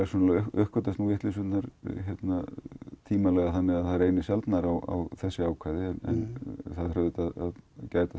uppgötvist vitleysurnar tímalega þannig það reynir sjaldnar á þessi ákvæði en það þarf að gæta